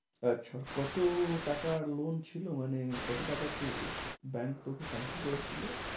আচ্ছা কত টাকার loan ছিল? মানে কতো টাকা তুই bank তোকে pension করেছিল?